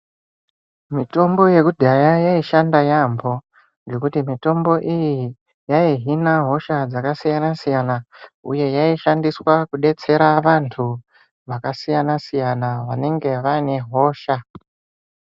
Mitombo yekudhaya yaishanda yaampho. Ngendaa yekuti mitombo iyi yaihina hosha dzakasiyana-siyana. Uye yaishandiswa kudetsera vanthu vakasiyana-siyana vanenge vaine hosha.